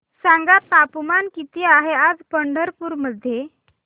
सांगा तापमान किती आहे आज पंढरपूर मध्ये